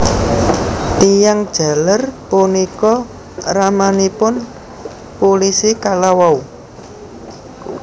Tiyang jaler punika ramanipun pulisi kalawau